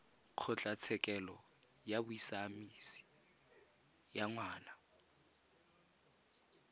kgotlatshekelo ya bosiamisi ya ngwana